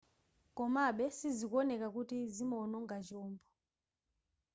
komabe sizikuoneka kuti zinaononga chombo